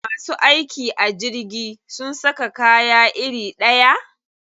Masu aiki a jirgi sun saka kaya iri ɗaya?